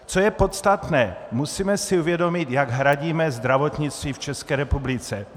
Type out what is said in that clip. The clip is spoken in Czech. Co je podstatné, musíme si uvědomit, jak hradíme zdravotnictví v České republice.